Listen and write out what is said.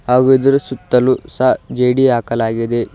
ಹಾಗೂ ಇದರ ಸುತ್ತಲೂ ಸಹ ಜೆಡಿ ಹಾಕಲಾಗಿದೆ.